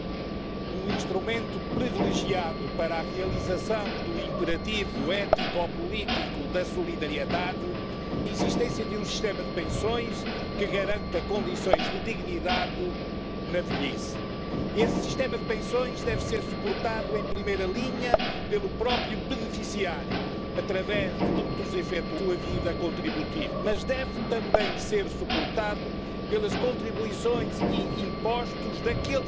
Y hay que terminar también con la brecha salarial de género. Hay que revertir, por supuesto, las reformas laborales y las de pensiones que ustedes han alentado. Por eso, si cambian radicalmente sus políticas y su agenda neoliberal, verán cómo encuentran soluciones positivas para la mayoría social y, sobre todo, verán cómo los trabajadores se lo agradecen y no sigue creciendo la extrema derecha.